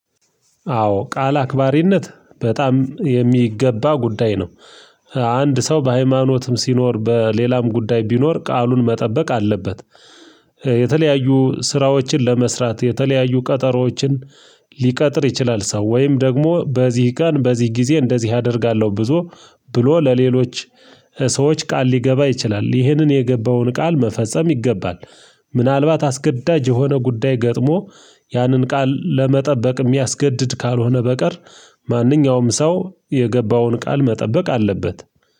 አዎ ቃል አክባሪነት በጣም የሚገባ ጉዳይ ነው። አንድ ሰው በሃይማኖትም ሲኖር በሌላም ጉዳይ ቢኖር ቃሉን መጠበቅ አለበት። የተለያዩ ስራዎችን ለመስራት የተለያዩ ቀጠሮዎችን ሊቀጥር ይችላል ሰው ወይም ደግሞ በዚህ ቀን በዚህ ጊዜ እንደዚህ አደርጋለሁ ብዙ ብሎ ለሌሎች ሰዎች ቃል ሊገባ ይችላል ይህንን የገባውን ቃል መፈጸም ይገባል። ምናልባት አስገዳጅ የሆነ ጉዳይ ገጥሞ ያንን ቃል ለመጠበቅ የሚያስገድድ ካልሆነ በቀር ማንኛውም ሰው የገባውን ቃል መጠበቅ አለበት